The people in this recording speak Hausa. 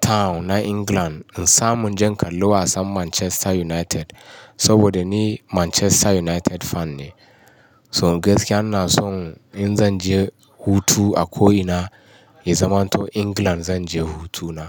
Town na England. In samu inje in kalla wasan Manchester United saboda ni Manchester United fan ne. So gaskiya ina son in zan je hutu a ko ina ya zaman to England zan je hutuna.